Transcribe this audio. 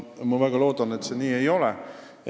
Ma väga loodan, et see nii ei ole.